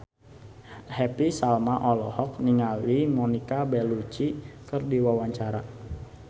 Happy Salma olohok ningali Monica Belluci keur diwawancara